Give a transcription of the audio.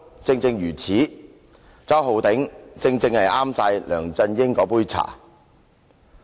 "周浩鼎議員正是梁振英那杯茶。